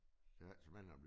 Det altid spændende at blive